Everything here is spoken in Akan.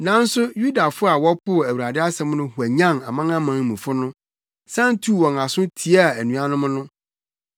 Nanso Yudafo a wɔpoo Awurade asɛm no hwanyan amanamanmufo no, san tuu wɔn aso tiaa anuanom no.